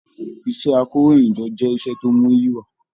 Iṣẹ àkòróyinjọ́ jẹ iṣẹ tó muyi wà.